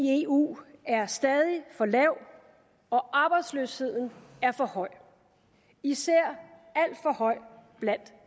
i eu er stadig for lav og arbejdsløsheden er for høj især alt for høj blandt